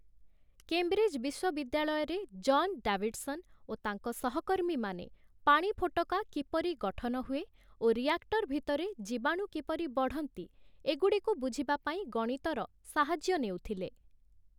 Cambridge ବିଶ୍ଵବିଦ୍ୟାଳୟରେ John Davidson ଓ ତାଙ୍କ ସହକର୍ମୀମାନେ ପାଣି ଫୋଟକା କିପରି ଗଠନ ହୁଏ ଓ ରିଆକ୍ଟର ଭିତରେ ଜୀବାଣୁ କିପରି ବଢ଼ନ୍ତି, ଏଗୁଡ଼ିକୁ ବୁଝିବା ପାଇଁ ଗଣିତର ସାହାଯ୍ୟ ନେଉଥିଲେ ।